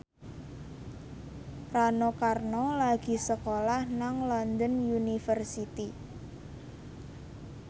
Rano Karno lagi sekolah nang London University